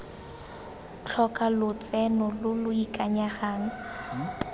tlhoka lotseno lo lo ikanyegang